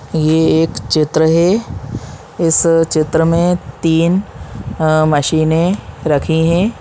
ये एक चित्र है इस चित्र में तीन अ मशीने रखी हैं।